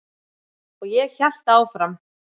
Og ég hélt áfram.